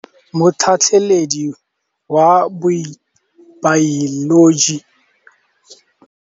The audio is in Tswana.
Motlhatlhaledi wa baeloji o neela baithuti tirwana ya mosola wa peniselene.